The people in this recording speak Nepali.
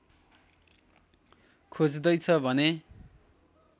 खोज्दैछ भने